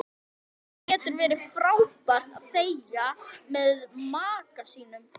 Það getur verið frábært að þegja með maka sínum.